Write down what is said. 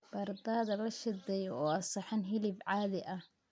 Baradhada la shiiday waa saxan hilib caadi ah.